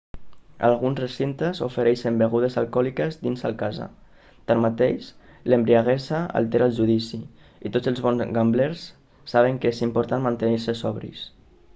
alguns recintes ofereixen begudes alcohòliques dins al casa tanmateix l'embriaguesa altera el judici i tots els bons gamblers saben que és important mantenir-se sobris